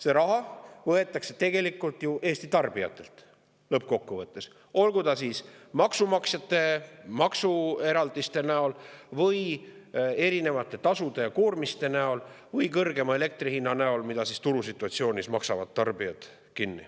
See raha võetakse lõppkokkuvõttes ju Eesti tarbijatelt, olgu siis maksumaksjatelt maksueraldiste näol või erinevate tasude ja koormiste näol või elektri kõrgema hinna näol, mille turusituatsioonis maksavad kinni tarbijad.